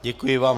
Děkuji vám.